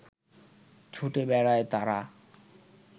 ছুটে বেড়ায় তারা